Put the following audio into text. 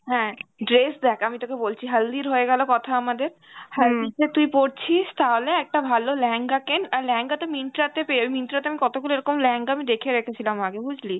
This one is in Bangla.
হ্যাঁ dress দেখ, আমি তোকে বলছি হালদির হয়ে গেল কথা আমাদের হালদিতে তুই পরছিস তাহলে একটা ভালো লেহেঙ্গা কেন আর লেহেঙ্গা তো myntra তে পেয়ে~ myntra তে আমি কতগুলো এরকম লেহেঙ্গা আমি দেখে দেখেছিলাম আগে বুঝলি